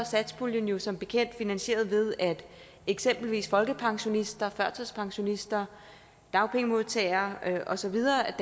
satspuljen jo som bekendt finansieret ved at eksempelvis folkepensionister førtidspensionister dagpengemodtagere og så videre